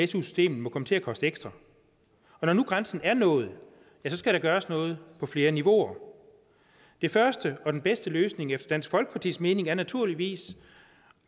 su systemet må komme til at koste ekstra og når nu grænsen er nået skal der gøres noget på flere niveauer den første og bedste løsning efter dansk folkepartis mening er naturligvis